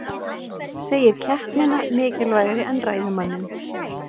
Segir keppnina mikilvægari en ræðumanninn